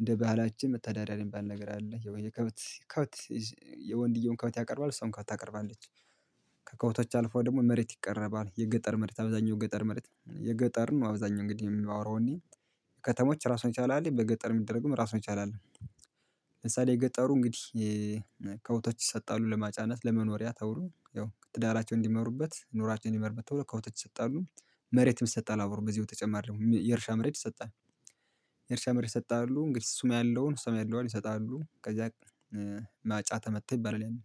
እንደ ባህላችን መተዳደሪያ የሚባል ነገር አለ የወይ የከበት ከብት የወንድየውም ከብት ያቀርባል እሷም ከብት ታቀርባለች ከከብቶች አልፎ ደግሞ መሬት ይቀረባል የገጠር መሬት አብዛኛው ገጠር መሬት የገጠር ነው አብዛኛው እንግዲህ የማወራው እኔ ከተሞች ራሱን የቻለ አለ በገጠር የሚደረግም ራሱን የቻለ አለ ምሳሌ የገጠሩ እንግዲህ ከብቶች ይሰጣሉ ለማጫነት ለመኖሪያ ተብሉ ያው ትዳራቸው እንዲመሩበት ኑሯቸውን እንዲመሩበት ተብሎ ከብቶች ይሰጣሉ መሬትም ይሰጣል አብሮ በዚህ በተጨማሪ ም የእርሻ መሬት ይሰጣል የእርሻ መሬት ይሰጣሉ እንግዲህ እሱም ያለውን እሷም ያለዋን ይሰጣሉ ከዛ ማጫ ተመታ ይባላል ያኔ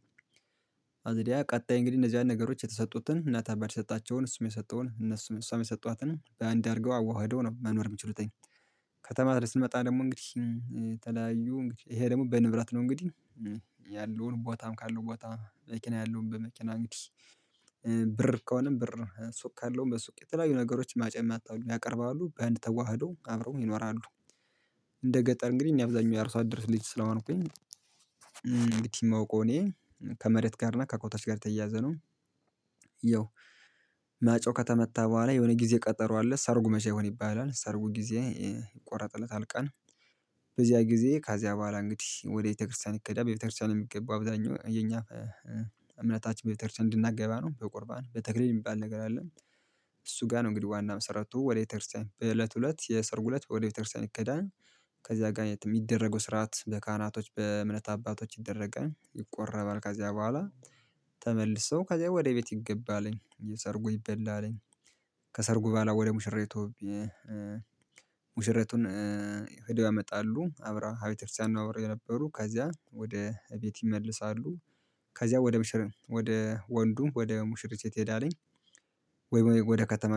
አዘዲያ ቀጣይ እንግዲህ እነዚያን ነገሮች የተሰጡትን እናት አባት የሰጣቸውን እሱም የሰጠውን እነሱም እሷም የሰጧትን በአንድ አድርገው አዋህደው ነው መኖር የምችሉትኝ ከተማ ላይ ስመጣ ደግሞ እንግዲህ ተለያዩ እንግዲህ ይሄ ደግሞ በንብረት ነው እንግዲህ ያለውን ቦታም ካለው ቦታ መኪና ያለውን በመኪና እንግዲህ ብር ከሆነም ብር ሱቅ ካለውም በሱቅ የተለያዩ ነገሮች ማጨም ያቀርባሉ በአንድ ተዋህዶ አብረው ይኖራሉ እንደ ገጠር እንግዲህ እኔ አብዛኛው የአርሶ አደር ልጅ ስለሆንኩኝ እንግዲህ የማውቀው እኔ ከመሬት ጋር እና ከኮታችን ጋር የተያያዘ ነው ያው ማጫው ከተመታ በኋላ የሆነ ጊዜ ቀጠሮ አለ ሰርጉ መቼ ይሁን ይባላል ሰርጉ ጊዜ ይቆረጥለት ቀን በዚያ ጊዜ ካዚያ በኋላ እንግዲህ ወደ ቤተክርስቲያን ይኬዳል በቤተክርስቲያን የሚገባ አብዛኛው የኛ እምነታችን በቤተ በቤተክርስቲያን እንድናገባ ነው በቁርባን በተክሊል የሚባል ነገር አለ እሱ ጋር ነው እንግዲህ ዋና መሰረቱ ወደ ቤተክርስቲያን በእለቱ እለት የሰርጉ እለት ወደ ቤተክርስቲያን ይኬዳን ከዚያ ጋር የሚደረገው ስርዓት በካህናቶች በእምነት አባቶች ይደረጋል ይቆረባል ከዚያ በኋላ ተመልሶ ከዚያ ወደ ቤት ይገባልኝ የሰርጉ ይበላልኝ ከሰርጉ በኋላ ወደ ሙሽራይቱ ሙሽራይቱን ሄደው ያመጣሉ አብራ ቤተክርስቲያን ነው አብረው የነበሩ ከዚያ ወደ እቤት ይመልሳሉ ከዚያ ወደ ምሽር ወደ ወንዱም ወደ ሙሽሪ ቤት ይሄዳልኝ ወይ ወደ ከተማ